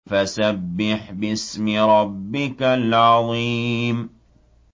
فَسَبِّحْ بِاسْمِ رَبِّكَ الْعَظِيمِ